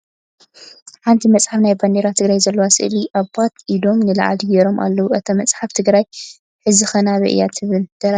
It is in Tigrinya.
ሓንቲ መፅሓፍ ናይ ባንዴራ ትግራይ ዘለዋ ስእሊ አባት ኢዶም ንላዕሊ ገይሮም ኣለዉ ። እታ መፅሓፍ ትግራይ ሕዚከ ናበይ እያ ትብል ደራሲኣ መን እዩ ?